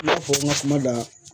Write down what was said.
I n'a fɔ n ka kumaw la